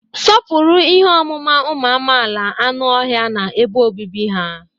Sọpụrụ ihe ọmụma ụmụ amaala like anụ ọhịa na ebe obibi ha.